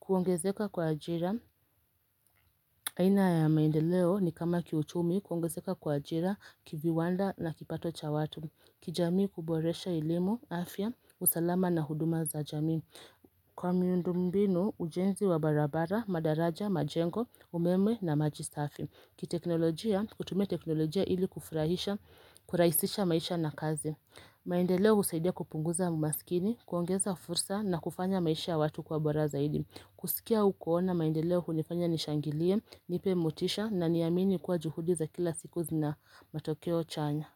Kuongezeka kwa ajira, aina ya maendeleo ni kama kiuchumi, kuongezeka kwa ajira, kiviwanda na kipato cha watu. Kijamii kuboresha ilimu, afya, usalama na huduma za jamii. Kwa miundumbinu, ujenzi wa barabara, madaraja, majengo, umeme na majisafi. Ki teknolojia, kutumia teknolojia ili kufurahisha, kuraisisha maisha na kazi. Maendeleo usaidia kupunguza umasikini, kuongeza fursa na kufanya maisha watu kwa bora zaidi. Kusikia au kuona maendeleo unifanya nishangilie, nipe mutisha na niyamini kwa juhudi za kila siku zina matokeo chanya.